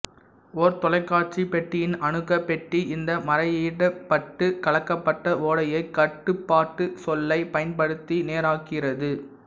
ஓர் தொலைக்காட்சிப் பெட்டியின் அணுக்கப் பெட்டி இந்த மறையீடிடப்பட்டுக் கலக்கப்பட்ட ஓடையை கட்டுப்பாட்டுச் சொல்லைப் பயன்படுத்தி நேராக்குகிறது